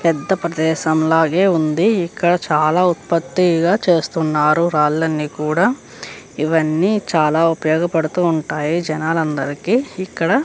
పెద్ద ప్రదేశంలో లాగే ఉంది. ఇక్కడ చాలా ఉత్పత్తిగా చేస్తున్నారు. రాళ్లన్నీ కూడా ఇవన్నీ చాలా ఉపయోగపడతాయి జనాలందరికీ ఇక్కడ --